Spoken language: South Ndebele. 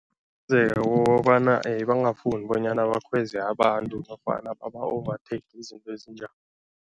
Kukobana bangafuni bonyana bakhweze abantu nofana baba ovatheyikhe, izinto ezinjalo.